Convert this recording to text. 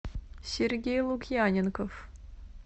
сергей лукьяненков